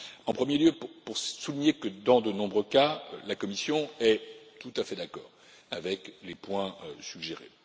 En premier lieu pour souligner que, dans de nombreux cas, la Commission est tout à fait d'accord avec les points suggérés.